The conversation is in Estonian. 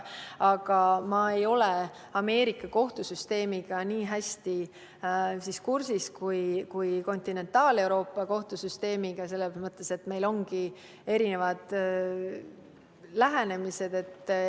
Aga ma ei ole Ameerika kohtusüsteemiga nii hästi kursis kui Kontinentaal-Euroopa kohtusüsteemiga, meil ongi erisugused lähenemised.